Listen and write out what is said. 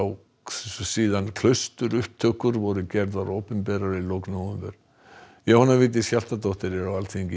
síðan voru gerðar opinberar í lok nóvember Jóhanna Vigdís Hjaltadóttir er á Alþingi